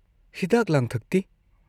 ꯍꯤꯗꯥꯛ ꯂꯥꯡꯊꯛꯇꯤ?